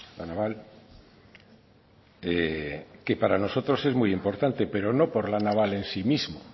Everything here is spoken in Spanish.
la naval es que para nosotros es muy importante pero no por la naval en sí mismo